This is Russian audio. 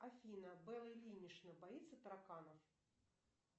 афина белла ильинична боится тараканов